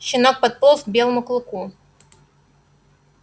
щенок подполз к белому клыку